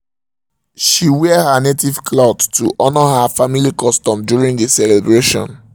she um wear her native cloth to honor her family custom during the celebration